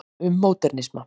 um módernisma